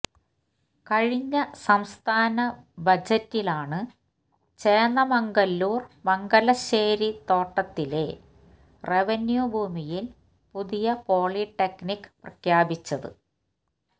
കഴിഞ്ഞ സംസ്ഥാന ബജറ്റിലാണ് ചേന്ദമംഗല്ലൂര് മംഗലശ്ശേരിത്തോട്ടത്തിലെ റവന്യൂ ഭൂമിയില് പുതിയ പോളിടെക്നിക് പ്രഖ്യാപിച്ചത്